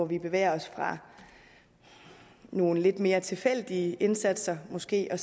vi bevæger os fra nogle lidt mere tilfældige indsatser måske og